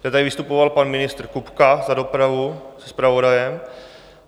To tady vystupoval pan ministr Kupka za dopravu se zpravodajem.